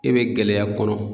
E be gɛlɛya kɔnɔ